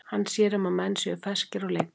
Hann sér um að menn séu ferskir á leikdegi.